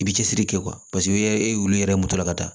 I bi cɛsiri kɛ i yɛrɛ ye olu yɛrɛ mɔtɔ la ka taa